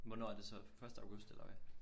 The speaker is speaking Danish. Hvornår er det så første august eller hvad?